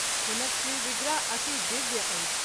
हुनक श्री विग्रह अति दिव्य अछि।